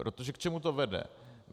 Protože k čemu to vede?